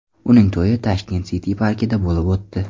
Uning to‘yi Tashket City parkida bo‘lib o‘tdi.